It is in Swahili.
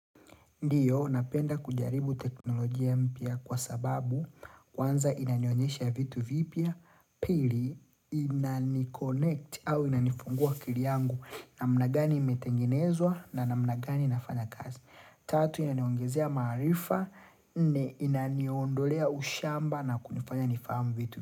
Ndiyo, napenda kujaribu teknolojia mpya kwa sababu kwanza inanionyesha vitu vipya, pili inani connect au inanifungua akili yangu namnagani imetengenezwa namna gani inafanya kazi. Tatu, inaniongezea maarifa, inaniondolea ushamba na kunifanya nifahamu vitu.